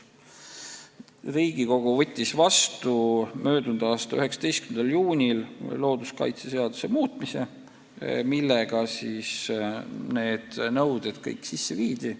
Riigikogu kiitis möödunud aasta 19. juunil heaks looduskaitseseaduse muutmise, millega need nõuded kõik kehtestati.